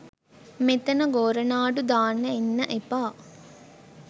මෙතන ගෝරනාඩු දාන්න එන්න එපා